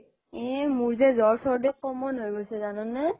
এ মোৰ যে জ্বৰ চৰ্দি common হৈ গৈছে জানানে